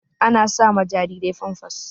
Ana sa ma jarirai famfas.